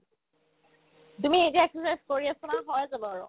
তুমি এতিয়া exercise কৰি আছা নহয় সহজ হ'ব আৰু